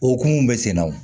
O hukumu bɛ sen na wo